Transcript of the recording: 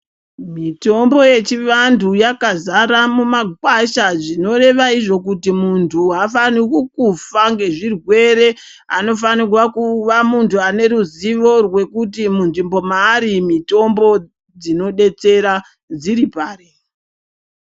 Mitombo yechivanthu yakazara mumakwasha zvinoreva izvo kuti munthu aafaniri kufa ngezvirwere anofanirwa kuva munthu ane ruzivo rwekuti munzvimbo maari mitombo dzinodetsera dziri pari.